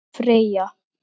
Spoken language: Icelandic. Þín Freyja.